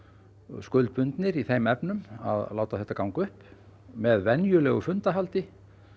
skuldbundnir í þeim efnum að láta þetta ganga upp með venjulegu fundahaldi